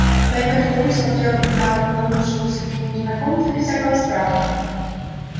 поэтому старик смотрел на вторгнувшегося к нему незнакомца без всякого страха